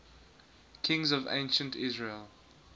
kings of ancient israel